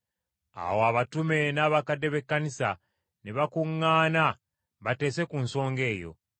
Awo abatume n’abakadde b’Ekkanisa ne bakuŋŋaana bateese ku nsonga eyo.